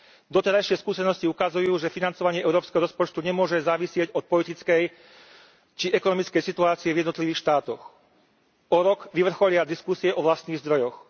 Doterajšie skúsenosti ukazujú, že financovanie európskeho rozpočtu nemôže závisieť od politickej či ekonomickej situácie v jednotlivých štátoch. O rok vyvrcholia diskusie o vlastných zdrojoch.